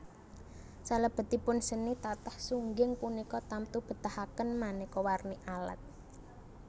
Salebetipun seni tatah sungging punika tamtu betahaken maneka warni alat